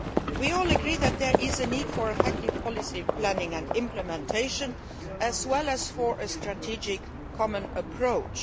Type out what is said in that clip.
We all agree that there is a need for effective policy planning and implementation as well as for a strategic common approach.